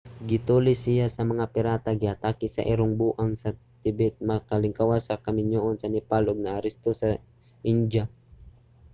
gitulis siya sa mga pirata giatake sa irong buang sa tibet nakalingkawas sa kaminyuon sa nepal ug naaresto sa indiya